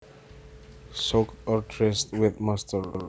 Soaked or drenched with moisture